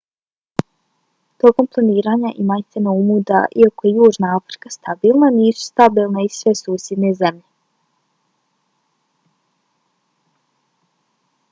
tokom planiranja imajte na umu da iako je južna afrika stabilna nisu stabilne i sve susjedne zemlje